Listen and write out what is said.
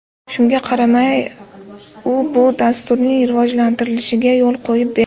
Shunga qaramay, u bu dasturning rivojlantirilishiga yo‘l qo‘yib berdi.